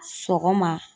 Sɔgɔma